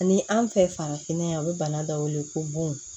Ni an fɛ farafinna yan o bɛ bana dɔ wele ko bon